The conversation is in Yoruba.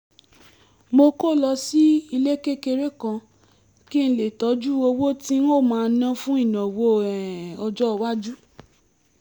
mo kó lọ sílé kékeré kan kí n lè tọ́jú owó tí n ó máa ná fún ìnáwó um ọjọ́ iwájú